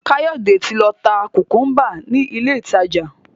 Kayode tí ló tá kukumba ní ilé ìtàjà.